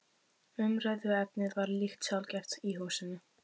Umræðuefnið var líka sjaldgæft í húsinu.